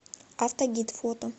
автогид фото